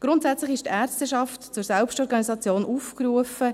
Grundsätzlich ist die Ärzteschaft zur Selbstorganisation aufgerufen.